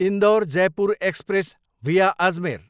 Indore, Jaipur express via Ajmer